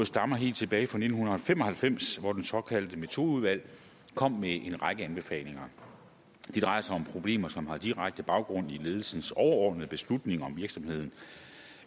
stammer helt tilbage fra nitten fem og halvfems hvor det såkaldte metodeudvalg kom med en række anbefalinger det drejer sig om problemer som har direkte baggrund i ledelsens overordnede beslutninger om virksomheden